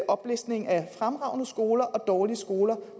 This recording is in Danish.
oplistning af fremragende skoler og dårlige skoler